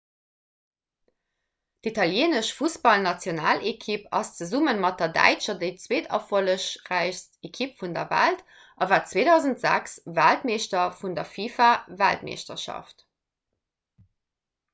d'italieenesch fussballnationalekipp ass zesumme mat der däitscher déi zweeterfollegräichst ekipp vun der welt a war 2006 weltmeeschter vun der fifa-weltmeeschterschaft